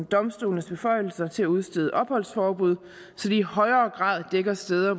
domstolenes beføjelser til at udstede opholdsforbud så det i højere grad dækker steder